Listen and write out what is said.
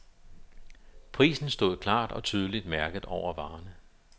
Prisen stod klart og tydeligt mærket over varerne.